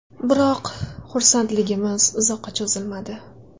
Biroq, xursandligimiz uzoqqa cho‘zilmadi.